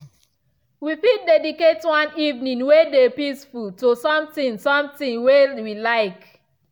we fit dedicate one evening way dey peaceful to something something way we like.